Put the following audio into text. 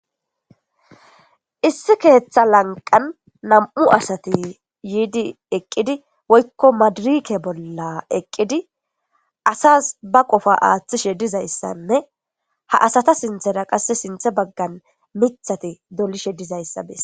Issi keeththa lanqan nam7u asati yiidi eqqidi woykko maadirike bolla eqqidi asas ba qofa aaththishe dizayssanne ha asata sinthera qasse sinthe baggan muthati dolishe dizayssa bess.